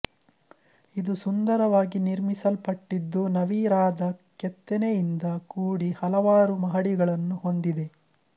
ಇದು ಸುಂದರವಾಗಿ ನಿರ್ಮಿಸಲ್ಪಟ್ಟಿದ್ದು ನವಿರಾದ ಕೆತ್ತನೆಯಿಂದ ಕೂಡಿ ಹಲವಾರು ಮಹಡಿಗಳನ್ನು ಹೊಂದಿದೆ